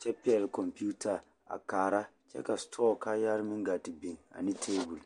kyɛ pɛɡele kɔmpiita a kaara kyɛ ka setɔɔ kaayɛrɛɛ a ɡaa te biŋ ane teebul.